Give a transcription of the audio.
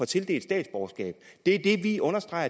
tildelt statsborgerskab det vi understreger